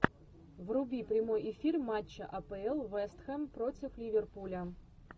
вруби прямой эфир матча апл вест хэм против ливерпуля